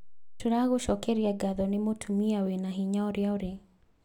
Tũragũcokeria ngatho nĩ mũtumia wĩna hinya ũrĩa ũrĩ